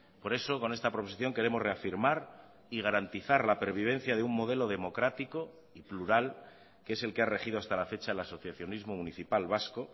por eso con esta proposición queremos reafirmar y garantizar la pervivencia de un modelo democrático y plural que es el que ha regido hasta la fecha el asociacionismo municipal vasco